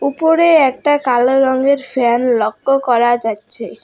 উপরে একটা কালো রঙের ফ্যান লক্ষ্য করা যাচ্ছে।